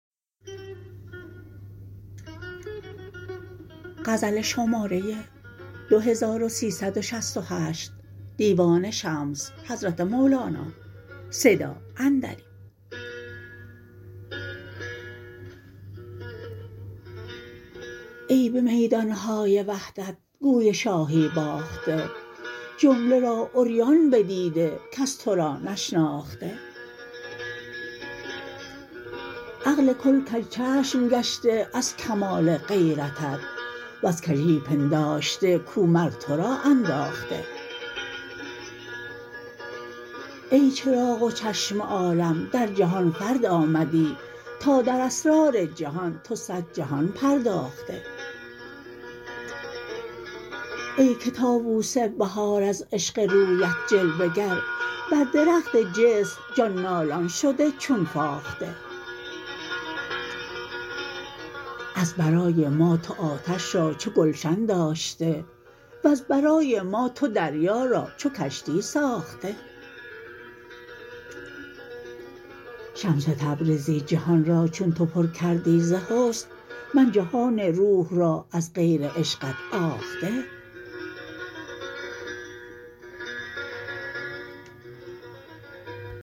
ای به میدان های وحدت گوی شاهی باخته جمله را عریان بدیده کس تو را نشناخته عقل کل کژچشم گشته از کمال غیرتت وز کژی پنداشته کو مر تو را انداخته ای چراغ و چشم عالم در جهان فرد آمدی تا در اسرار جهان تو صد جهان پرداخته ای که طاووس بهار از عشق رویت جلوه گر بر درخت جسم جان نالان شده چون فاخته از برای ما تو آتش را چو گلشن داشته وز برای ما تو دریا را چو کشتی ساخته شمس تبریزی جهان را چون تو پر کردی ز حسن من جهان روح را از غیر عشقت آخته